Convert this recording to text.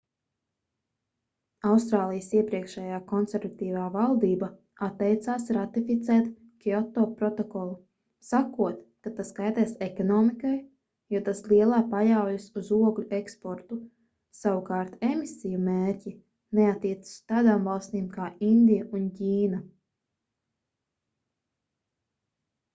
austrālijas iepriekšējā konservatīvā valdība atteicās ratificēt kioto protokolu sakot ka tas kaitēs ekonomikai jo tas lielā paļaujas uz ogļu eksportu savukārt emisiju mērķi neattiecas uz tādām valstīm kā indija un ķīna